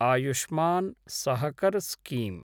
Ayushman Sahakar scheme